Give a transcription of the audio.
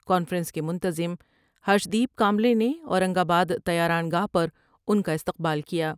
Conference کے منتظم Harshdeep Kamble نے اورنگ آ با د طیران گاہ پر ان کا استقبال کیا ۔